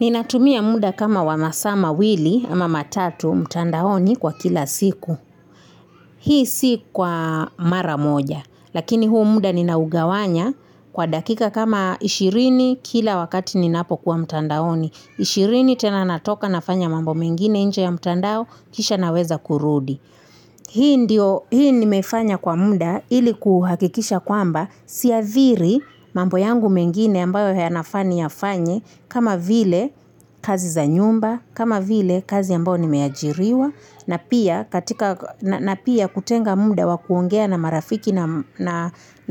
Ninatumia muda kama wa masaa mawili ama matatu mtandaoni kwa kila siku. Hii si kwa mara moja, lakini huu muda ninaugawanya kwa dakika kama ishirini kila wakati ninapokuwa mtandaoni. Ishirini tena natoka nafanya mambo mengine nje ya mtandao, kisha naweza kurudi. Hii nimefanya kwa muda, ili kuhakikisha kwamba, siathiri mambo yangu mengine ambayo yanafaa niyafanye, kama vile kazi za nyumba, kama vile kazi ambayo nimeajiriwa, na pia kutenga muda wa kuongea na marafiki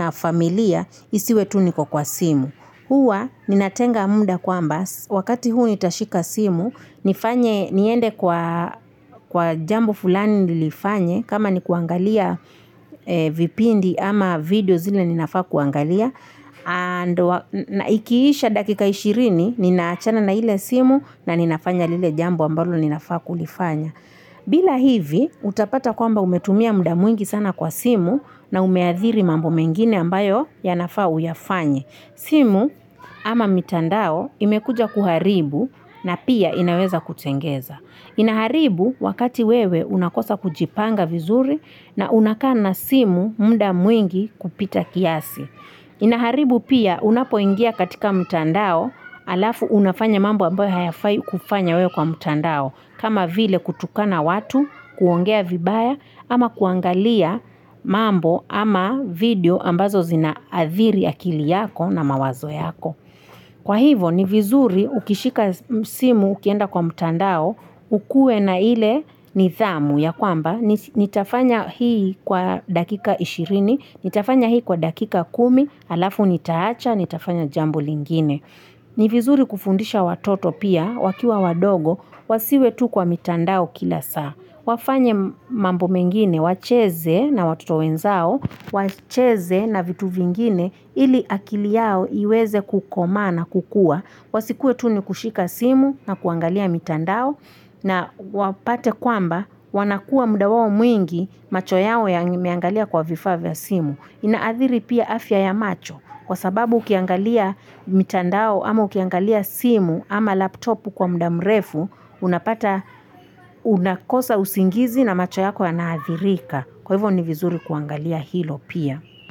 na familia, isiwe tu niko kwa simu. Huwa ninatenga muda kwamba, wakati huu nitashika simu, niende kwa kwa jambo fulani nilifanye, kama nikuangalia vipindi ama video zile ninafaa kuangalia, na ikiisha dakika ishirini, ninaachana na ile simu na ninafanya lile jambo ambalo ninafaa kulifanya. Bila hivi, utapata kwamba umetumia muda mwingi sana kwa simu na umeadhiri mambo mengine ambayo yanafaa uyafanye. Simu ama mitandao imekuja kuharibu na pia inaweza kutengeza. Inaharibu wakati wewe unakosa kujipanga vizuri na unakana simu mda mwingi kupita kiasi. Inaharibu pia unapoingia katika mtandao alafu unafanya mambo ambayo hayafai kufanya wewe kwa mtandao. Kama vile kutukana watu, kuongea vibaya, ama kuangalia mambo ama video ambazo zinaathiri akili yako na mawazo yako. Kwa hivyo ni vizuri ukishika simu ukienda kwa mtandao, ukuwe na ile nidhamu ya kwamba, nitafanya hii kwa dakika 20, nitafanya hii kwa dakika 10, alafu nitaacha, nitafanya jambo lingine. Ni vizuri kufundisha watoto pia, wakiwa wadogo, wasiwe tu kwa mitandao kila saa. Wafanye mambo mengine, wacheze na watoto wenzao, wacheze na vitu vingine ili akili yao iweze kukomaa na kukua. Wasikuwe tu ni kushika simu na kuangalia mitandao na wapate kwamba wanakuwa muda wao mwingi macho yao yameangalia kwa vifaa vya simu. Inaathiri pia afya ya macho kwa sababu ukiangalia mitandao ama ukiangalia simu ama laptopu kwa muda mrefu unapata unakosa usingizi na macho yako yanaathirika. Kwa hivyo ni vizuri kuangalia hilo pia.